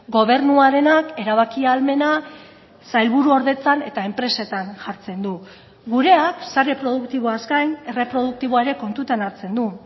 gobernuarenak erabaki ahalmena sailburuordetzan eta enpresetan jartzen du gureak sare produktiboaz gain erreproduktiboa ere kontutan hartzen du